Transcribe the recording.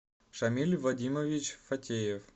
шамиль вадимович фатеев